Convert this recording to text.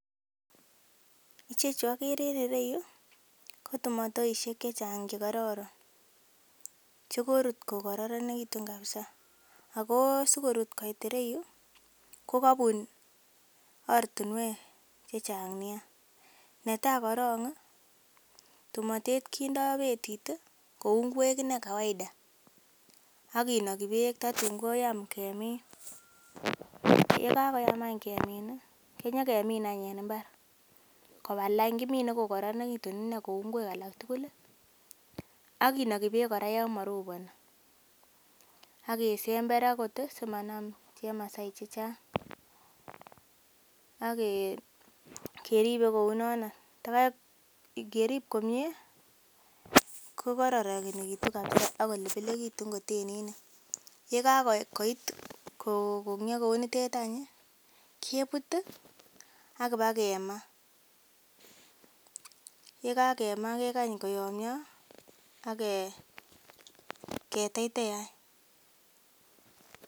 Ichechu okere en ireyuu ko tumotoishek chechang chekororon chekorut ko kororonekitun kabisa ako sikorut koit iroyuu ko kobun ortinwek che Chang nia netai korongi tumotet kindo betit tii kou ingwek ine kawaida ak kinoki beek tatun koyam kemin . Yekakoyam anch kemin kenyokemin any en imbar koba lain , kimine ko koronekitun ine koba lain kou ingwek alak tukul lii ak kinoki beek kora yon moroponi ak kesember okot Koraa simanam chemasai chechang akeribe kounono takai ngerib komie ko kororonekitun kabisa ak kolebelekitun kotenit nii. Yekakoit ko kokongoy kounotet anchi kebut tii akina kemaa yekakema kekany koyomyo ake keteitei any.